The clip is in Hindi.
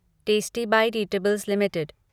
tasty bite eatables limited